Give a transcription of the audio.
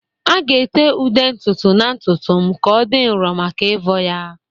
A ga-ete ude ntutu na ntutu m ka ọ dị nro maka ịvọ ya